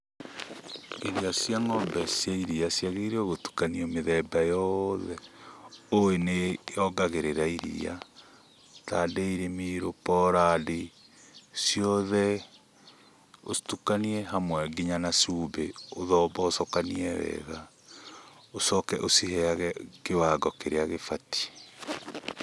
Irio cia ng'ombe cia iria ciagĩrĩire gũtukanio mĩthemba yothe ũĩ nĩyongagĩrĩra iria ta dairy meal, poland ciothe ũcitukanie hamwe nginya na cumbĩ, ũthombocokanie wega, ũcoke ũciheyage kiwango kĩrĩa gĩbatiĩ.